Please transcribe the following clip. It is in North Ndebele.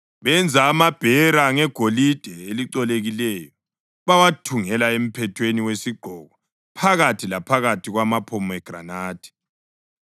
Benza amabhera ngegolide elicolekileyo bawathungela emphethweni wesigqoko phakathi laphakathi kwamaphomegranathi.